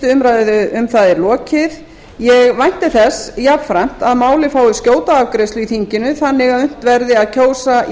umræðu um það er lokið ég vænti þess jafnframt að málið fái skjóta afgreiðslu í þinginu þannig að unnt verði að kjósa í